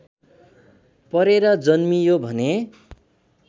परेर जन्मियो भने